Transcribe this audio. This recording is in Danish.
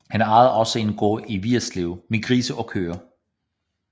Han ejede også en gård i Vigerslev med grise og køer